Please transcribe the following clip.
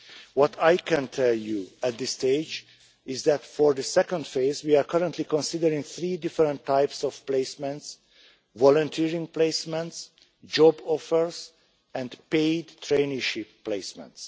What I can tell you at this stage is that for the second phase we are currently considering three different types of placements volunteering placements, job offers and paid traineeship placements.